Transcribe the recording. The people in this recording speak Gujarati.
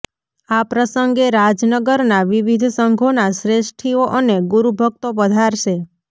આ પ્રસંગે રાજનગરનાં વિવિધ સંઘોના શ્રેષ્ઠીઓ અને ગુરુભક્તો પધારશે